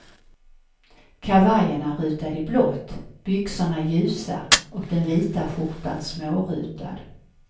Kavajen är rutad i blått, byxorna ljusa och den vita skjortan smårutad.